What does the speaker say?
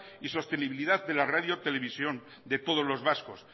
y la sostenibilidad de la radio televisión de todos los vascos